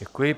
Děkuji.